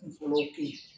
Kunkolo kun